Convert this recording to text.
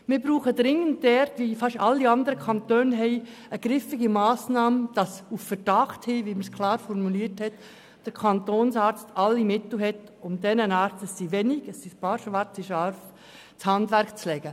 Wir brauchen dringend, wie das fast alle anderen Kantone haben, eine griffige Massnahme, damit der Kantonsarzt auf Verdacht hin alle Mittel zur Verfügung hat, um diesen Ärzten, diesen wenigen schwarzen Schafen, das Handwerk zu legen.